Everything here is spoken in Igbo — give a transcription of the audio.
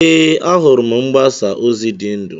Ee, ahụrụ m mgbasa ozi dị ndụ.